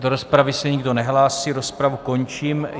Do rozpravy se nikdo nehlásí, rozpravu končím.